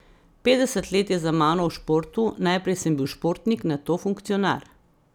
Petdeset let je za mano v športu, najprej sem bil športnik, nato funkcionar.